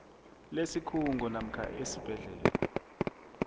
lesikhungo namkha esibhedlela